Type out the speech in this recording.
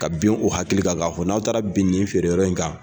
Ka bin o hakili ka ka fɔ n'aw taara ben nin feere yɔrɔ in kan.